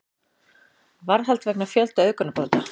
Varðhald vegna fjölda auðgunarbrota